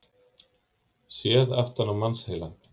Séð aftan á mannsheilann.